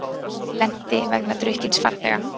Lenti vegna drukkins farþega